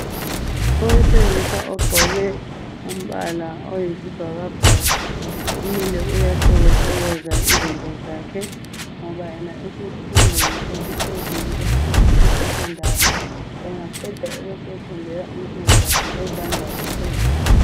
Owesilisa ogqoke umbala oyisibhakabhaka, umile uyahlokohlokoza izinto zakhe .Ngoba yena esesifundweni esiphezulu esesecondary .Engaqeda ebesefundela umsebenzi wakhe wezandla etertiary.